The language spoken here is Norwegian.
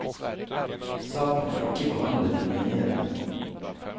Saken er ikke behandlet i menighetene.